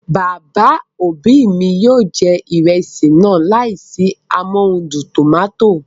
Bàbá òbí mi yóò jẹ ìrẹsì náà láìsí amóhudùn tòmátò